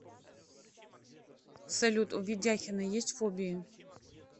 салют у ведяхина есть фобии